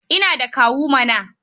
Ina da kawu mana.